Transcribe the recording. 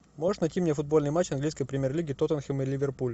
можешь найти мне футбольный матч английской премьер лиги тоттенхэм и ливерпуль